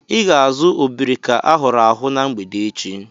I ga-azu obrika ahụrụ ahu na mgbede echi.